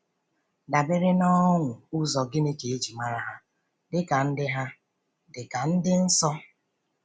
Dabere n’ọ̀nụ́ ụzọ̀ gịnị ka e ji mara ha dịka ndị ha dịka ndị nsọ?